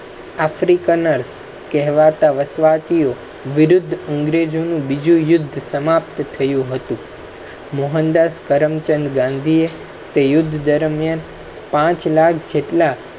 africa કહેવા તા વાસ્વતીયો વિરુદ્ધ અંગ્રેજો નું બીજું યુદ્ધ સમાપ્ત થયું હતું. મોહનદાસ કરમચંદ ગાંધી યુદ્ધ દરમિયાન પાંચ લાખ જેટલા